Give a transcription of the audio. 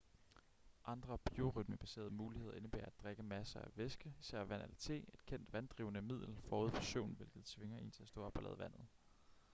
andre biorytmebaserede muligheder indebærer at drikke masser af væske især vand eller te et kendt vanddrivende middel forud for søvn hvilket tvinger en til at stå op og lade vandet